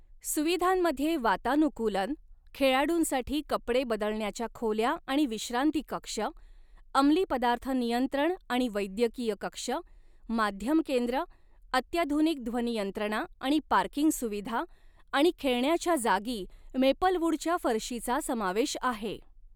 सुविधांमध्ये वातानुकूलन, खेळाडूंसाठी कपडे बदलण्याच्या खोल्या आणि विश्रांतीकक्ष, अमली पदार्थ नियंत्रण आणि वैद्यकीय कक्ष, माध्यम केंद्र, अत्याधुनिक ध्वनियंत्रणा आणि पार्किंग सुविधा आणि खेळण्याच्या जागी मेपलवुडच्या फरशीचा समावेश आहे.